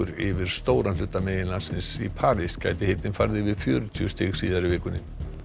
yfir stóran hluta meginlandsins í París gæti hitinn farið yfir fjörutíu stig síðar í vikunni